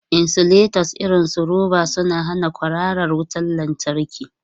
Insulators irin su roba suna hana kwararar wutar lantarki.